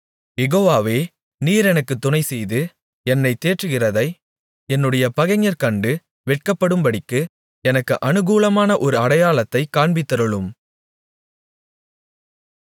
யெகோவாவே நீர் எனக்குத் துணைசெய்து என்னைத் தேற்றுகிறதை என்னுடைய பகைஞர் கண்டு வெட்கப்படும்படிக்கு எனக்கு அநுகூலமாக ஒரு அடையாளத்தைக் காண்பித்தருளும்